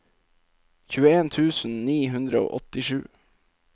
tjueen tusen ni hundre og åttisju